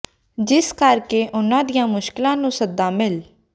ਜਿਸ ਕਰ ਕੇ ਉਹਨਾਂ ਦੀਆਂ ਮੁਸ਼ਕਲਾਂ ਨੂੰ ਸੱਦਾ ਮਿਲ